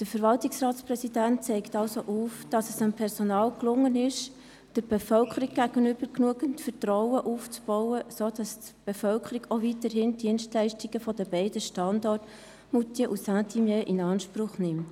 » Der Verwaltungsratspräsident zeigt also auf, dass es dem Personal gelang, der Bevölkerung gegenüber genügend Vertrauen aufzubauen, sodass die Bevölkerung auch weiterhin die Dienstleistungen beider Standorte in Moutier und Saint-Imier in Anspruch nimmt.